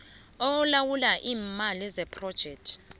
olawula iimali zephrojekthi